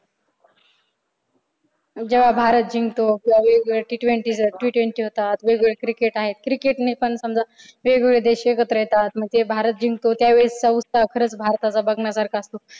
जेव्हा भारत जिंकतो किंवा वेगवेगळ्या T twenty आहेत t twenty होतात वेगवेगळ्या cricket आहेत cricket ने पण समजा वेगवेगळे देश एकत्र येतात. मग ते भारत जिंकतो. त्यावेळेसचा उत्साह खरच भारताचा बघण्यासारखा असतो.